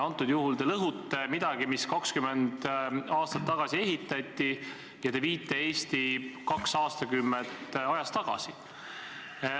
Praegu te lõhute midagi, mis 20 aastat tagasi ehitati, ja te viite Eesti kaks aastakümmet ajas tagasi.